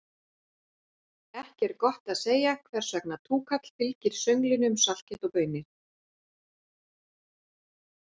Ekki er gott að segja hvers vegna túkall fylgir sönglinu um saltkjöt og baunir.